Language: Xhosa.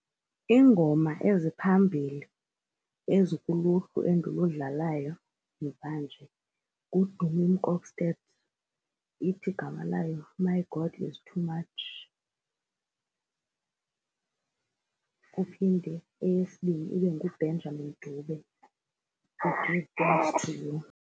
Iingoma eziphambili ezikuluhlu endiludlalayo mvanje nguDumi Mkokstad, ithi igama layo My God is Too Much. Kuphinde eyesibini ibe nguBenjamin Dube .